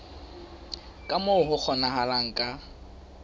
ka moo ho kgonahalang ka